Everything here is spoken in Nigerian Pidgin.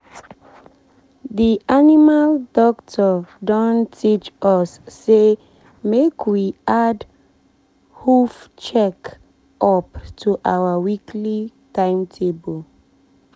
the animal doctor don teach us say make we add hoof check up to our weekly timetable.